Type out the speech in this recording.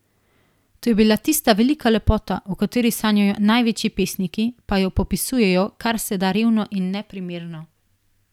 To je bila tista velika lepota, o kateri sanjajo največji pesniki, pa jo popisujejo kar se da revno in neprimerno.